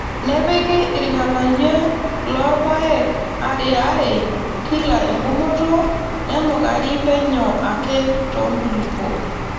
Nepiki irng'anayio loo rpayek ariaare kila engumoto nenukari penyo ake too nkulupuok.